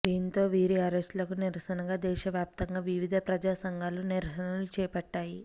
దీంతో వీరి అరెస్టులకు నిరసనగా దేశ వ్యాప్తంగా వివిధ ప్రజా సంఘాలు నిరసనలు చేపట్టాయి